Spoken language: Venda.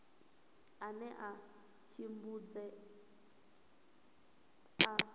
ane a vha tshidzumbe a